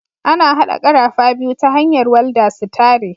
Ana haɗa karafa biyu ta hanyar walda su tare.